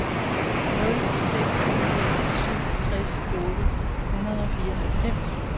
nul seks seks syv tres otte hundrede og fireoghalvfems